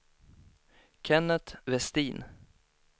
Kenneth Westin